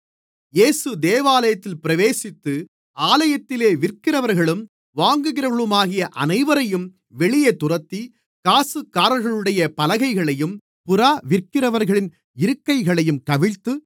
இயேசு தேவாலயத்தில் பிரவேசித்து ஆலயத்திலே விற்கிறவர்களும் வாங்குகிறவர்களுமாகிய அனைவரையும் வெளியே துரத்தி காசுக்காரர்களுடைய பலகைகளையும் புறா விற்கிறவர்களின் இருக்கைகளையும் கவிழ்த்து